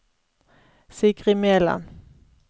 Sigrid Meland